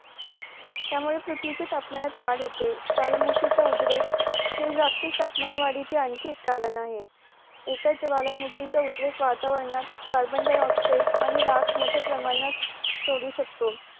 त्यामुळे पृथ्वीच्या तापमानात वाढ होते ज्वाला मुखीचा उद्रेक हे जागतिक तापमान वाडीचे आणखी एक कारण आहे एका ज्वाला मुखीचा उद्रेक वातावरणात कार्बनडायऑक्साईड आणि राख मोट्या प्रमाणात सोडू शकतो